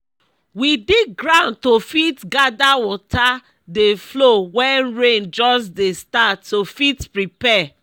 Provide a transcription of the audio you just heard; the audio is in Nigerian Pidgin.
we dig ground to fit gather water dey flow wen rain just dey start to fit prepare